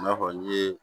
I n'a fɔ n ye